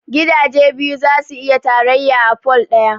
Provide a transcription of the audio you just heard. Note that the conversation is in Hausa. Gidaje biyu zasu iya tarayya a pole ɗaya